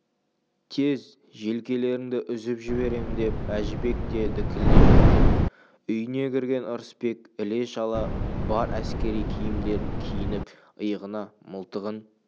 тез желкелеріңді үзіп жіберем деп әжібек те дікілдей жөнелді үйіне кірген ырысбек іле-шала бар әскери киімдерін киініп иығына мылтығын